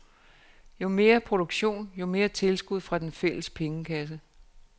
Jo mere produktion, jo mere tilskud fra den fælles pengekasse.